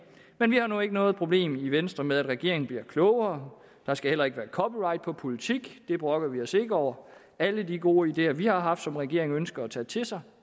men vi har nu ikke noget problem i venstre med at regeringen bliver klogere der skal heller ikke være copyright på politik det brokker vi os ikke over alle de gode ideer vi har haft som regeringen ønsker at tage til sig